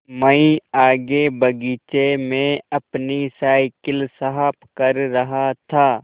मैं आगे बगीचे में अपनी साईकिल साफ़ कर रहा था